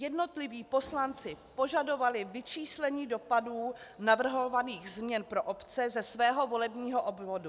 Jednotliví poslanci požadovali vyčíslení dopadů navrhovaných změn pro obce ze svého volebního obvodu.